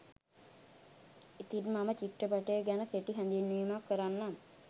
ඉතිං මම චිත්‍රපටය ගැන කෙටි හැඳින්වීමක් කරන්නම්